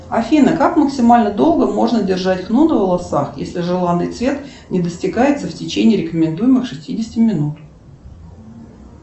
афина как максимально долго можно держать хну на волосах если желанный цвет не достигается в течение рекомендуемых шестидесяти минут